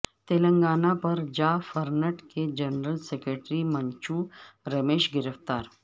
تلنگانہ پر جافرنٹ کے جنرل سکریٹری منچو رمیش گرفتار